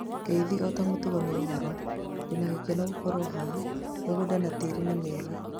Ngeithi ota mũtugo nĩ, ũhoro, ndĩna gĩkeno gũkorwo haha, mĩgũnda na tĩri nĩ mĩega